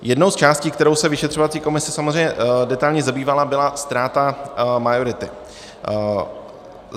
Jednou z částí, kterou se vyšetřovací komise samozřejmě detailně zabývala, byla správa majority.